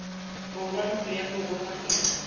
borwa ntlo ya borongwa e